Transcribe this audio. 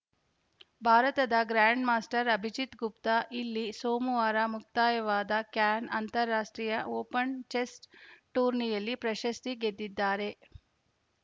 ಭಾರತದ ಗ್ರ್ಯಾಂಡ್‌ಮಾಸ್ಟರ್‌ ಅಭಿಜಿತ್‌ ಗುಪ್ತಾ ಇಲ್ಲಿ ಸೋಮವಾರ ಮುಕ್ತಾಯವಾದ ಕ್ಯಾನ್‌ ಅಂತಾರಾಷ್ಟ್ರೀಯ ಓಪನ್‌ ಚೆಸ್‌ ಟೂರ್ನಿಯಲ್ಲಿ ಪ್ರಶಸ್ತಿ ಗೆದ್ದಿದ್ದಾರೆ